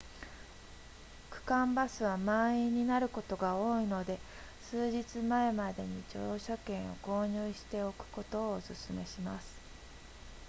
区間バスは満員になることが多いので数日前までに乗車券を購入しておくことをお勧めします